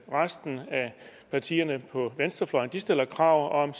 resten af partierne på venstrefløjen stiller krav om